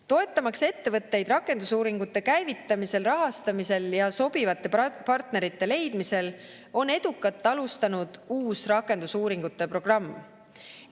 Toetamaks ettevõtteid rakendusuuringute käivitamisel, rahastamisel ja sobivate partnerite leidmisel, on edukalt alustanud uus rakendusuuringute programm.